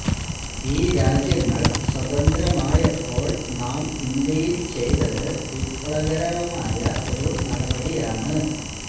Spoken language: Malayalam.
ഈ രാജ്യങ്ങള് സ്വതന്ത്രമായപ്പോള് നാം ഇന്ത്യയില് ചെയ്തത് വിപ്ലവകരമായ ഒരു നടപടിയാണ്